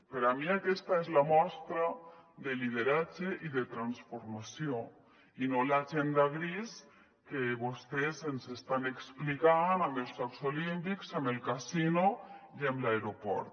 per a mi aquesta és la mostra de lideratge i de transformació i no l’agenda grisa que vostès ens estan explicant amb els jocs olímpics amb el casino i amb l’aeroport